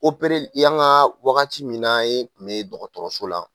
opereli yanga wagati min n'an ye e tun bɛ dɔgɔtɔrɔso la.